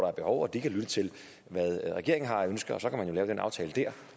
er behov og de kan lytte til hvad regeringen har af ønsker så kan man jo lave den aftale dér